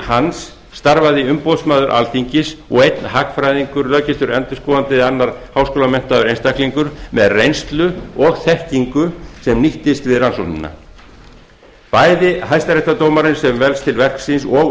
hans starfaði umboðsmaður alþingis og einn hagfræðingur löggiltur endurskoðandi eða annar háskólamenntaður einstaklingur með reynslu og þekkingu sem nýtist við rannsóknina bæði hæstaréttardómarinn sem velst til verksins og